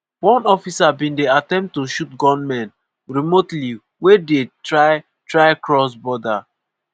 one officer bin dey attempt to shoot gunmen remotely wey dey try try cross border.